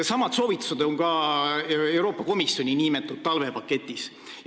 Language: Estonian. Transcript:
Samad soovitused on ka Euroopa Komisjoni nn talvepaketis.